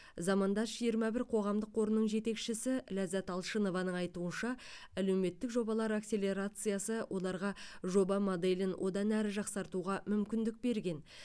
замандас жиырма бір қоғамдық қорының жетекшісі ләззат алшынованың айтуынша әлеуметтік жобалар акселерациясы оларға жоба моделін одан әрі жақсартуға мүмкіндік берген